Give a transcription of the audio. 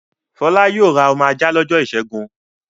Fọlá yóò ra ọmọ ajá lọ́jọ́ ìṣẹ́gun.